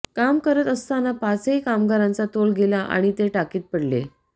काम करत असताना पाचही कामरांचा तोल गेला आणि ते टाकीत पडले